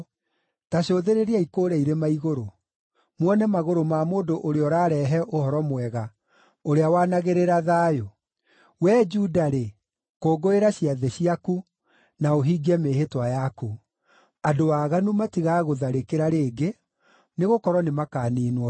Ta cũthĩrĩriai kũũrĩa irĩma-igũrũ, muone magũrũ ma mũndũ ũrĩa ũrarehe ũhoro mwega, ũrĩa wanagĩrĩra thayũ! Wee Juda-rĩ, kũngũĩra ciathĩ ciaku, na ũhingie mĩĩhĩtwa yaku. Andũ aaganu matigagũtharĩkĩra rĩngĩ, nĩgũkorwo nĩmakaniinwo biũ.